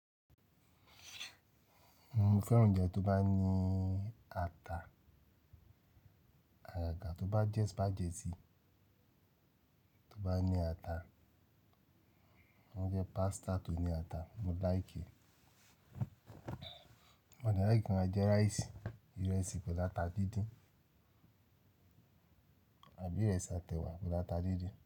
Mo fẹ́ràn oúnjẹ tó bá ní ata, àyàrà tó bá jẹ́ spaghetti tó bá ní ata, ó jẹ́ pasta tó ní ata, mo like e. Mo dárí gínja jẹ rice, ìrẹsì pẹ̀lú ata dídín àbí ìrẹsì àtẹ̀wà pẹ̀lú ata dídín.